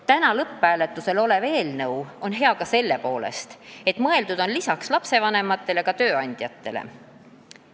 Täna lõpphääletusele minev eelnõu on hea ka selle poolest, et lisaks lastevanematele on mõeldud tööandjatele.